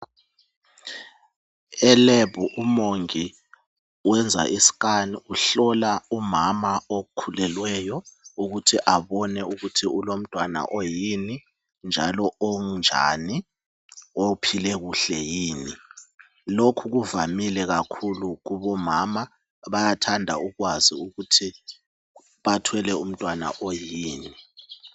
Elab umongi wenza iscan uhlola umama okhulelweyo ukuthi abone ukuthi ulomntwana oyini njalo onjani ophile kuhle yini lokhu kuvamile kakhulu kubomama bayathanda ukwazi ukuthi bathwele umntwana oyini.